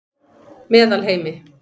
Meðalheimi